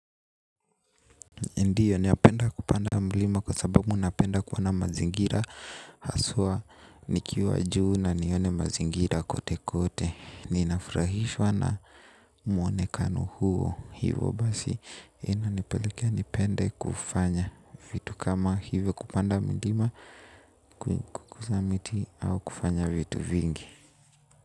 Ndio napenda kupanda mlima kwa sababu napenda kuona mazingira. Haswa nikiwa juu na nione mazingira kote kote. Ninafurahishwa na mwonekano huo. Hivo basi inanipelekea nipende kufanya vitu kama hivyo kupanda milima. Kuguza miti au kufanya vitu vingi.